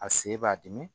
A sen b'a dimi